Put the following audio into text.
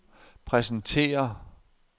præsentere